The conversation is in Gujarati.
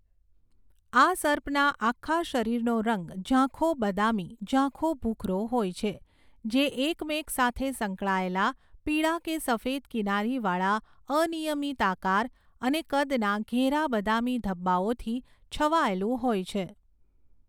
આ સર્પના આખા શરીરનો રંગ ઝાંખો બદામી ઝાંખો ભૂખરો હોય છે જે એકમેક સાથે સંકળાયેલા પીળા કે સફેદ કિનારીવાળા અનિયમિત આકાર અને કદના ઘેરા બદામી ધબ્બાઓથી છવાયેલું હોય છે.